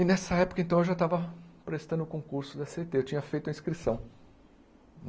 E nessa época, então, eu já estava prestando o concurso da cê tê, eu tinha feito a inscrição.